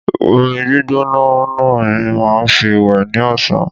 Omi gbígbóná ni màá fi wẹ̀ ní ọ̀sán